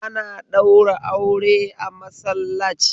Ana ɗaura aure a masallac